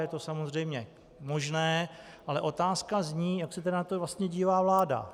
Je to samozřejmě možné, ale otázka zní, jak se tedy na to vlastně dívá vláda.